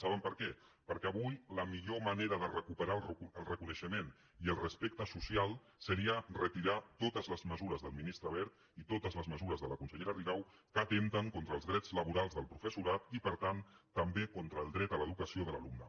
saben per què perquè avui la millor manera de recuperar el reconeixement i el respecte social seria retirar totes les mesures del ministre wert i totes les mesures de la consellera rigau que atempten contra els drets laborals del professorat i per tant també contra el dret a l’educació de l’alumne